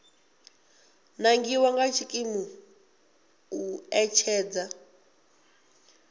nangiwa nga tshikimu u ṋetshedza